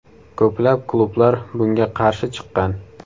Ko‘plab klublar bunga qarshi chiqqan !